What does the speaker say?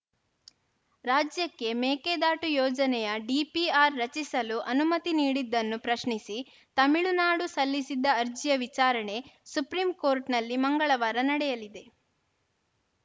ರಾಜ್ಯಕ್ಕೆ ಮೇಕೆದಾಟು ಯೋಜನೆಯ ಡಿಪಿಆರ್‌ ರಚಿಸಲು ಅನುಮತಿ ನೀಡಿದ್ದನ್ನು ಪ್ರಶ್ನಿಸಿ ತಮಿಳುನಾಡು ಸಲ್ಲಿಸಿದ್ದ ಅರ್ಜಿಯ ವಿಚಾರಣೆ ಸುಪ್ರೀಂ ಕೋರ್ಟ್‌ನಲ್ಲಿ ಮಂಗಳವಾರ ನಡೆಯಲಿದೆ